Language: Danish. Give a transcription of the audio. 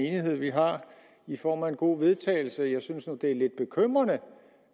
enighed vi har i form af en god vedtagelse jeg synes nu det er lidt bekymrende